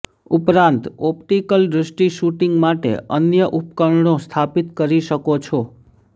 ઉપરાંત ઓપ્ટિકલ દૃષ્ટિ શૂટિંગ માટે અન્ય ઉપકરણો સ્થાપિત કરી શકો છો